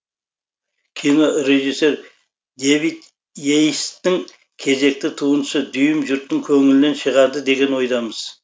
кино режиссер дэвид и ейстің кезекті туындысы дүйім жұрттың көңілінен шығады деген ойдамыз